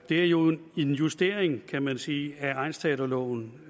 det er jo en justering kan man sige af egnsteaterloven